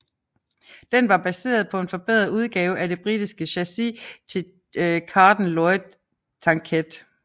Den var baseret på en forbedret udgave af det britiske chassis til Carden Loyd tankette